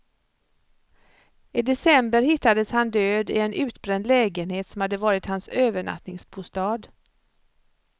I december hittades han död i en utbränd lägenhet som hade varit hans övernattningsbostad.